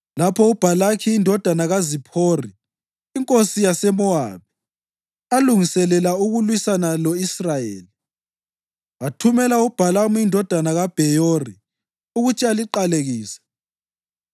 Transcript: Lapho uBhalaki indodana kaZiphori inkosi yaseMowabi, alungiselela ukulwisana lo-Israyeli, wathumela uBhalamu indodana kaBheyori ukuthi aliqalekise.